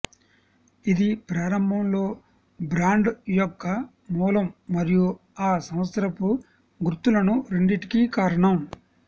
ఇది ప్రారంభంలో బ్రాండ్ యొక్క మూలం మరియు ఆ సంవత్సరపు గుర్తులను రెండింటికి కారణం